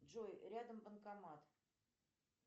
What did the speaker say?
джой рядом банкомат